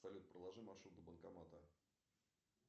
салют проложи маршрут до банкомата